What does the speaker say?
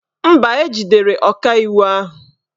Mba, ejidere ọkaiwu ahụ